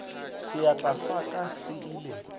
seatla sa ka se ile